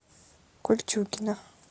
кольчугино